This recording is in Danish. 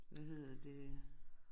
Hvad hedder det